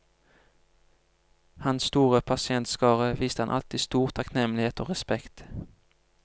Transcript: Hans store pasientskare viste ham alltid stor takknemlighet og respekt.